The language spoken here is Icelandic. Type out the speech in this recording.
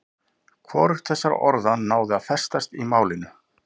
Hvorugt þessara orða náði að festast í málinu.